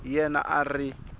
hi yena a a ri